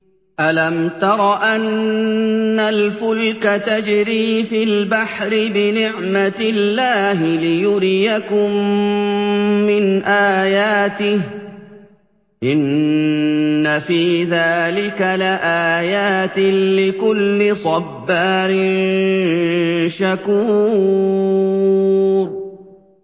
أَلَمْ تَرَ أَنَّ الْفُلْكَ تَجْرِي فِي الْبَحْرِ بِنِعْمَتِ اللَّهِ لِيُرِيَكُم مِّنْ آيَاتِهِ ۚ إِنَّ فِي ذَٰلِكَ لَآيَاتٍ لِّكُلِّ صَبَّارٍ شَكُورٍ